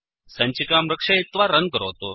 सञ्चिकां रक्षयित्वा रन् करोतु